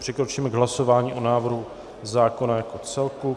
Přikročíme k hlasování o návrhu zákona jako celku.